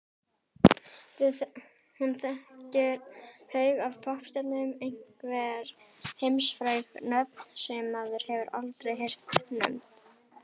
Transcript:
Hún þekkir haug af poppstjörnum, einhver heimsfræg nöfn sem maður hefur aldrei heyrt nefnd.